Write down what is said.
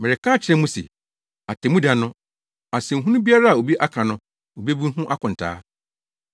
Mereka makyerɛ mo se, atemmuda no, asɛnhunu biara a obi aka no, obebu ho akontaa.